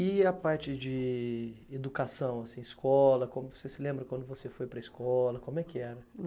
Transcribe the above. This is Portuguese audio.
E a parte de educação, assim, escola, como você se lembra quando você foi para a escola, como é que era?